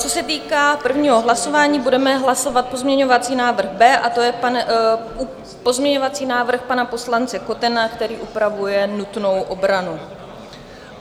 Co se týká prvního hlasování, budeme hlasovat pozměňovací návrh B a to je pozměňovací návrh pana poslance Kotena, který upravuje nutnou obranu.